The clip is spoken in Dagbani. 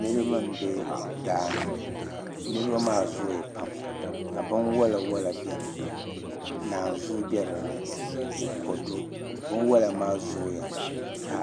Niraba n bɛ daani niraba maa zooya pam ka bin wola wola biɛni naanzuu bɛ dinni ni kodu binwola maa zooya ka